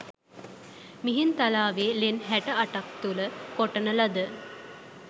මිහින්තලාවේ ලෙන් හැට අටක් තුළ කොටන ලද